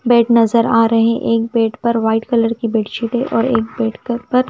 bed नजर आ रहे है एक बेड पर व्हाइट कलर की बेडशीट है और एक बेड कर पर--